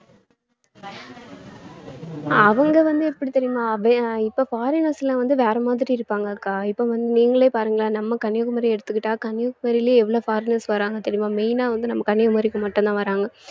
அவங்க வந்து எப்படி தெரியுமா இப்ப foreigners லாம் வந்து வேற மாதிரி இருப்பாங்க அக்கா இப்ப வந்து நீங்களே பாருங்களேன் நம்ம கன்னியாகுமரியை எடுத்துக்கிட்டா கன்னியாகுமரியிலே எவ்வளவு foreigners வர்றாங்க தெரியுமா main ஆ வந்து நம்ம கன்னியாகுமரிக்கு மட்டும்தான் வர்றாங்க